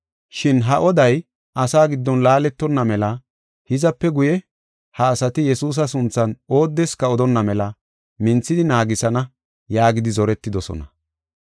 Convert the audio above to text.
Shin ha oday asaa giddon laaletonna mela hizape guye, ha asati Yesuusa sunthan oodeska odonna mela minthidi naagisana” yaagidi zoretidosona.